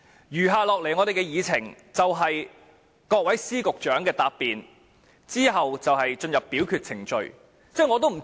餘下的會議程序是各位司局長的答辯，之後就會進行表決。